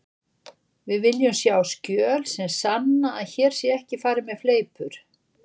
Við viljum sjá skjöl sem sanna að hér sé ekki farið með fleipur.